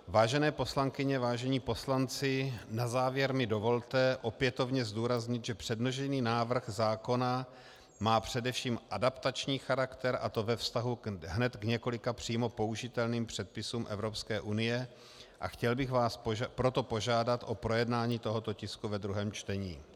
Vážené poslankyně, vážení poslanci, na závěr mi dovolte opětovně zdůraznit, že předložený návrh zákona má především adaptační charakter, a to ve vztahu hned k několika přímo použitelným předpisům Evropské unie, a chtěl bych vás proto požádat o projednání tohoto tisku ve druhém čtení.